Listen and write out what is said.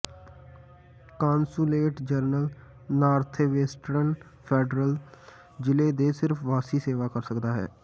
consulate general northwestern federal ਜ਼ਿਲ੍ਹੇ ਦੇ ਸਿਰਫ ਵਾਸੀ ਸੇਵਾ ਕਰ ਸਕਦਾ ਹੈ